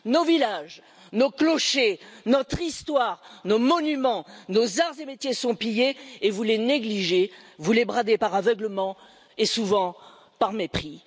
Nos villages, nos clochers, notre histoire, nos monuments, nos arts et métiers sont pillés et vous les négligez, vous les bradez par aveuglement et souvent par mépris.